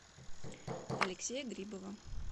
алексея грибова